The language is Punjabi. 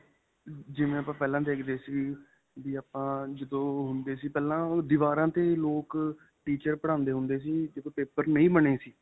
ਜਿਵੇਂ ਆਪਾਂ ਪਹਿਲਾਂ ਦੇਖਦੇ ਸੀ, ਵੀ ਆਪਾਂ ਜਦੋਂ ਹੁੰਦੇ ਸੀ ਪਹਿਲਾਂ ਓਹ ਦੀਵਾਰਾਂ ਤੇ ਲੋਕ teacher ਪੜਾਂਦੇ ਹੁੰਦੇ ਸੀ paper ਨਹੀਂ ਬਣੇ ਸੀ .